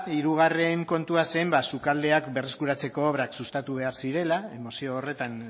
hirugarren kontua zen sukaldeak berreskuratzeko obrak sustatu behar zirela mozio horretan